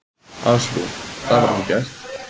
Ásrún: Það var ekki gert?